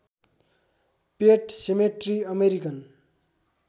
पेट cemetery American